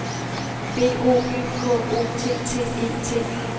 B O Y K O T T E T